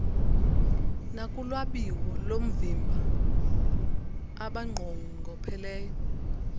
nakulwabiwo loovimba abanqongopheleyo